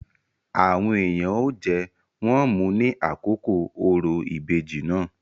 Àwọn èèyàn ó jẹ, wón mu ní àkókò òrò ìbejì náà.